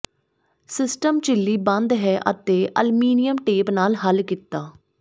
system ਝਿੱਲੀ ਬੰਦ ਹੈ ਅਤੇ ਅਲਮੀਨੀਅਮ ਟੇਪ ਨਾਲ ਹੱਲ ਕੀਤਾ